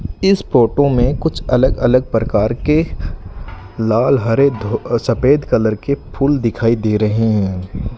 इस फोटो में कुछ अलग अलग प्रकार के लाल हरे सफेद कलर के फूल दिखाई दे रहे हैं।